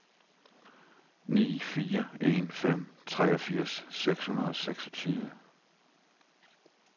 ni fire en fem treogfirs seks hundrede og seksogtyve